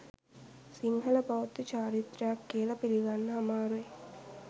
සිංහල බෞද්ධ චාරිත්‍රයක් කියලා පිළිගන්න අමාරුයි.